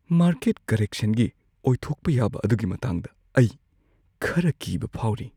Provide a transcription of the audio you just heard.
Market ꯀꯔꯦꯛꯁꯟꯒꯤ ꯑꯣꯏꯊꯣꯛꯄ ꯌꯥꯕ ꯑꯗꯨꯒꯤ ꯃꯇꯥꯡꯗ ꯑꯩ ꯈꯔ ꯀꯤꯕ ꯐꯥꯎꯔꯤ꯫